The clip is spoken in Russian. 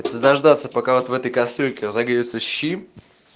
дождаться пока вот в этой кастрюльке разогреются щи